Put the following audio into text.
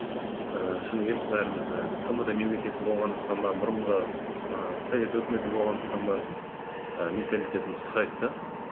ііі шыны керек бәріміз і тмд мемлекеті болғандықтан ба бұрынғы і совет үкіметі болғандықтан ба і менталитетіміз ұқсайды да